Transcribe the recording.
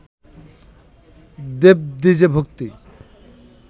দেবদ্বিজে ভক্তি